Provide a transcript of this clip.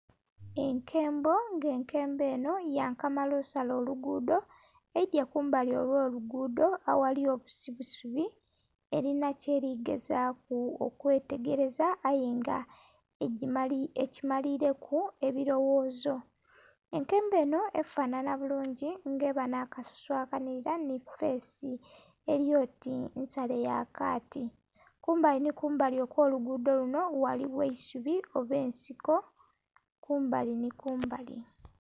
Enkembo nga enkembo enho yankamala osala oluguudo, eidhye kumbali ogh'oluguudo aghali obusubisubi elinha kyeli gezaaku okwetegeleza aye nga ekimalileku ebiloghoozo. Enkembo enho efanhanha bulungi nga eba nh'akasusu akanhilira nhi feesi eli oti nsale ya kaati. Kumbali nhi kumbali okw'oluguudo lunho ghaligho eisubi oba ensiko kumbali nhi kumbali